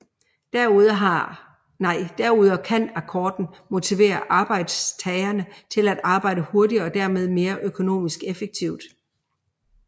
Derudover kan akkorden motivere arbejdstagerne til at arbejde hurtigere og dermed mere økonomisk effektivt